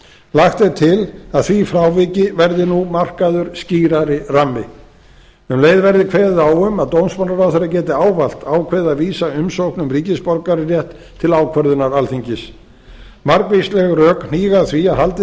lagt er til að því fráviki verði nú markaður skýrari rammi um leið verði kveðið á um að dómsmálaráðherra geti ávallt ákveðið að vísa umsókn um ríkisborgararétt til ákvörðunar alþingis margvísleg rök hníga að því að haldið